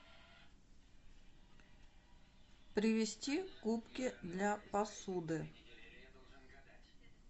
привезти губки для посуды